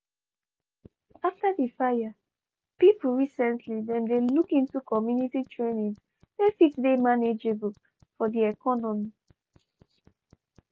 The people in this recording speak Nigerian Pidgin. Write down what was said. after di fire pipu recently dem dey look into community trainings wey fit dey manageable di economy.